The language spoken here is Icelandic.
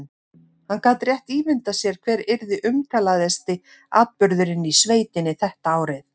Hann gat rétt ímyndað sér hver yrði umtalaðasti atburðurinn í sveitinni þetta árið.